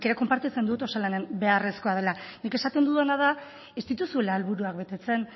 nik ere konpartitzen dut osalan beharrezkoa dela nik esaten dudana da ez dituzuela helburuak betetzen